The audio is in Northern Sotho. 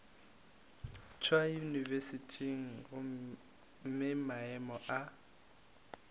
tšwa yunibesithing gomme maemo a